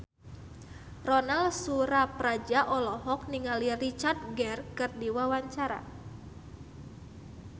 Ronal Surapradja olohok ningali Richard Gere keur diwawancara